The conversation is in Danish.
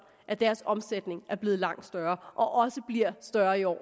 at deres omsætning er blevet langt større og også bliver større i år